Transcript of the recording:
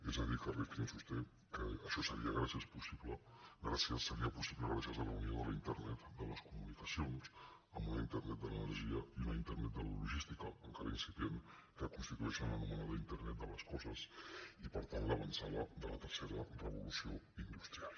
és a dir que rifkin sosté que això seria possible gràcies a la unió de la internet de les comunicacions amb una in·ternet de l’energia i una internet de la logística encara incipient que constitueixen l’anomenada internet de les coses i per tant l’avantsala de la tercera revolució industrial